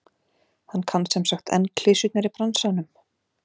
Hann kann semsagt enn klisjurnar í bransanum?